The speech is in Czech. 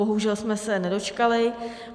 Bohužel jsme se nedočkali.